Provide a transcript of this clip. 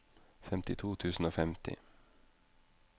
femtito tusen og femti